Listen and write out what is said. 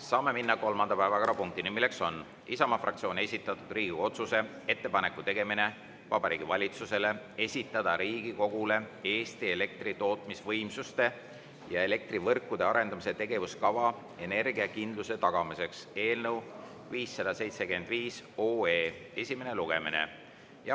Saame minna kolmanda päevakorrapunkti juurde, milleks on Isamaa fraktsiooni esitatud Riigikogu otsuse "Ettepaneku tegemine Vabariigi Valitsusele esitada Riigikogule Eesti elektri tootmisvõimsuste ja elektrivõrkude arendamise tegevuskava energiakindluse tagamiseks" eelnõu 575 esimene lugemine.